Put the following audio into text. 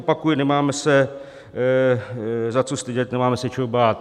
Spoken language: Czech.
Opakuji, nemáme se za co stydět, nemáme se čeho bát.